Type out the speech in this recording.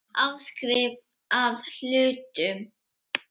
Áskrift að hlutum.